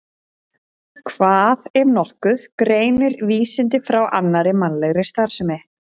Hvað, ef nokkuð, greinir vísindi frá annarri mannlegri starfsemi?